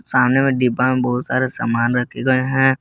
सामने में डिब्बा में बहुत सारे सामान रखे गए हैं।